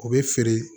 O bɛ feere